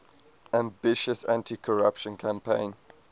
ambitious anticorruption campaign